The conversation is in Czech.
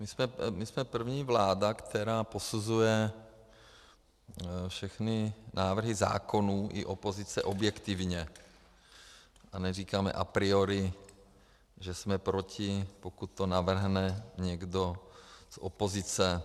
My jsme první vláda, která posuzuje všechny návrhy zákonů i opozice objektivně, a neříkáme a priori, že jsme proti, pokud to navrhne někdo z opozice.